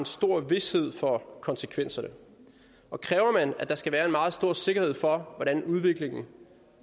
stor vished for konsekvenserne og kræver man at der skal være en meget stor sikkerhed for hvordan udviklingen